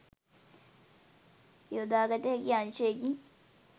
යොදාගත හැකි අංශයකි.